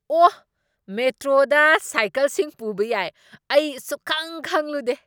ꯑꯣ! ꯃꯦꯇ꯭ꯔꯣꯗ ꯁꯥꯏꯀꯜꯁꯤꯡ ꯄꯨꯕ ꯌꯥꯏ꯫ ꯑꯩ ꯁꯨꯛꯈꯪ ꯈꯪꯂꯨꯗꯦ꯫